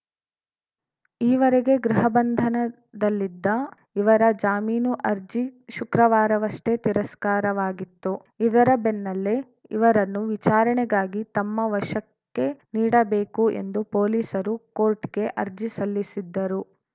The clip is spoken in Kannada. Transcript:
ಈವರೆಗೆ ಗೃಹಬಂಧನದಲ್ಲಿದ್ದ ಇವರ ಜಾಮೀನು ಅರ್ಜಿ ಶುಕ್ರವಾರವಷ್ಟೇ ತಿರಸ್ಕಾರವಾಗಿತ್ತು ಇದರ ಬೆನ್ನಲ್ಲೇ ಇವರನ್ನುವಿಚಾರಣೆಗಾಗಿ ತಮ್ಮ ವಶಕ್ಕೆ ನೀಡಬೇಕು ಎಂದು ಪೊಲೀಸರು ಕೋರ್ಟಿಗೆ ಅರ್ಜಿ ಸಲ್ಲಿಸಿದ್ದರು